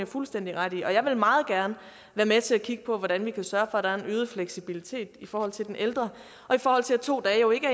fuldstændig ret i og jeg vil meget gerne være med til at kigge på hvordan vi kan sørge for at der er en øget fleksibilitet i forhold til den ældre to dage er jo ikke